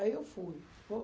Aí, eu fui.